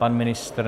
Pan ministr?